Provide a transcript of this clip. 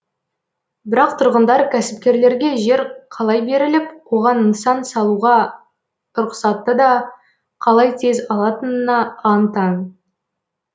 бірақ тұрғындар кәсіпкерлерге жер қалай беріліп оған нысан салуға рұқсатты да қалай тез алатынына аң таң